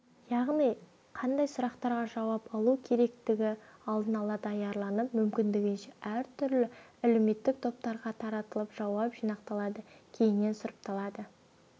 яғни қандай сұрақтарға жауап алу керектігі алдын ала даярланып мүмкіндігінше әртүрлі әлеуметтік топтарға таратылып жауап жинақталады кейіннен сұрыпталады